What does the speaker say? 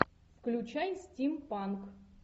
включай стим панк